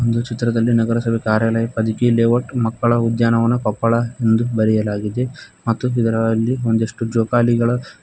ಚಿತ್ರದಲ್ಲಿ ನಗರಸಭೆ ಕಾರ್ಯಾಲಯ ಪದಕಿ ಲೇಔಟ್ ಮಕ್ಕಳ ಉದ್ಯಾನವನ ಕೊಪ್ಪಳ ಎಂದು ಬರೆಯಲಾಗಿದೆ ಮತ್ತು ಇದರಲ್ಲಿ ಒಂದಿಷ್ಟು ಜೋಕಾಲಿಗಳ--